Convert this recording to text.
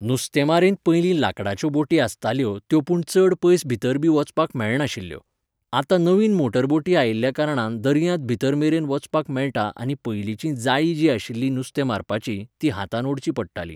नुस्तेमारींत पयलीं लांकडाच्यो बोटी आसताल्यो त्यो पूण चड पयस भितर बी वचपाक मेळनाशिल्यो. आतां नवीन मोटर बोटी आयिल्या कारणान दर्यांत भितर मेरेन वचपाक मेळटा आनी पयलींचीं जाळीं जीं आशिल्लीं नुस्तें मारपाचीं, तीं हातान ओडचीं पडटालीं.